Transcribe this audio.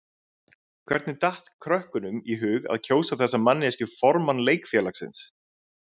Hvernig datt krökkunum í hug að kjósa þessa manneskju formann leikfélagsins?